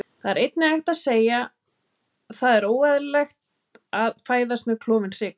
Það væri einnig hægt að segja Það er óeðlilegt að fæðast með klofinn hrygg.